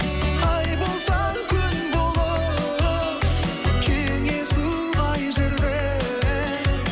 ай болсаң күн болып кеңесу қай жерде